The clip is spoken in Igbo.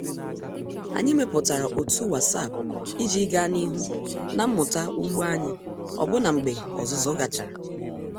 Anyị mepụtara otu WhatsApp iji gaa n'ihu na mmụta ugbo anyị ọbụna mgbe ọzụzụ gachara.